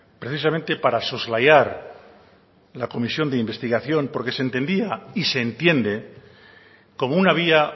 precisamente para soslayar la comisión de investigación porque se entendía y se entiende como una vía